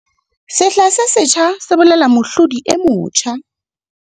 Sehla se setjha se bolela mohlodi e motjha